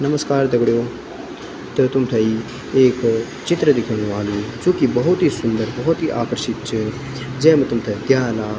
नमस्कार दगड़ियों त तुम थेई एक चित्र दिखेणु वालू जु की भौत ही सुन्दर भौत ही आकर्षित च जैम तुमथे प्याला।